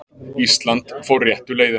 Ísland fór réttu leiðina